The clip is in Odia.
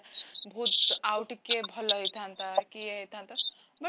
ବହୁତ ଆଉ ଟିକେ ଭଲ ହେଇଥାନ୍ତା ୟେ ହେଇଥାନ୍ତା but